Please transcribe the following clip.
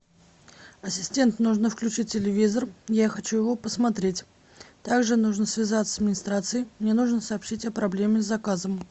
ассистент нужно включить телевизор я хочу его посмотреть также нужно связаться с администрацией мне нужно сообщить о проблеме с заказом